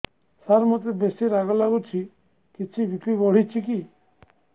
ସାର ମୋତେ ବେସି ରାଗ ଲାଗୁଚି କିଛି ବି.ପି ବଢ଼ିଚି କି